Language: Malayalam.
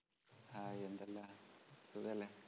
ഹായ് എന്തല്ലാണ് സുഖോല്ലേ